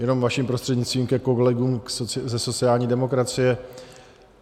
Jenom vaším prostřednictvím ke kolegům ze sociální demokracie.